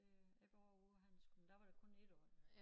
Øh jeg var også ude på handelsskolen der var det kun 1 år